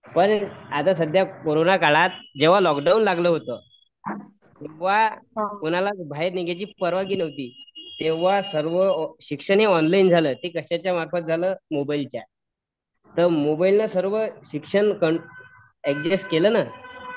पण आता समजा कोरोना काळात जेव्हा लोकडाऊन लागलं होत तेव्हा कुणालाच बाहेर निघण्याची परवानगी नव्हती तेव्हा शिक्षणहि ऑनलाईन झालं ते कशाच्या मार्फत झालं मोबाईलच्या तर मोबाईलने सर्व शिक्षण ऍडजेस्ट केलं ना